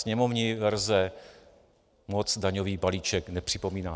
Sněmovní verze moc daňový balíček nepřipomíná.